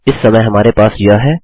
इस समय हमारे पास यह है